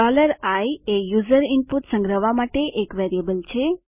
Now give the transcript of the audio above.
i એ user input સંગ્રહવા માટે એક વેરિયેબલ છે